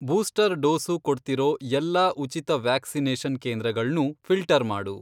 Booster dose ಕೊಡ್ತಿರೋ ಎಲ್ಲಾ ಉಚಿತ ವ್ಯಾಕ್ಸಿನೇಷನ್ ಕೇಂದ್ರಗಳ್ನೂ ಫಿ಼ಲ್ಟರ್ ಮಾಡು.